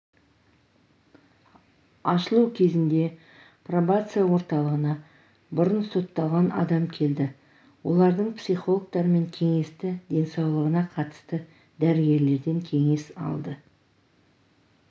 ашылу кезінде пробация орталығына бұрын сотталған адам келді олардың психологтармен кеңесті денсаулығына қатысты дәрігерден кеңес алды